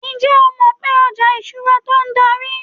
njé o mọ pé oja ìṣura to dari